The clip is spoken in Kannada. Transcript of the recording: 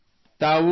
ಹಾ ಸರ್